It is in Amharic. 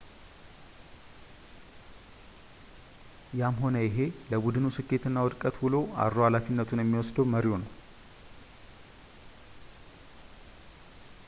ያም ሆነ ይሄ ለቡድኑ ስኬት እና ውድቀት ውሎ አድሮ ሃላፊነቱን የሚወስደው መሪው ነው